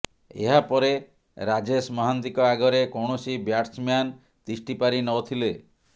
ଏହାପରେ ରାଜେଶ ମହାନ୍ତିଙ୍କ ଆଗରେ କୌଣସି ବ୍ୟାଟସ୍ମ୍ୟାନ୍ ତିଷ୍ଠି ପାରି ନଥିଲେ